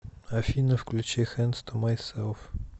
афина включи хэндс ту майселф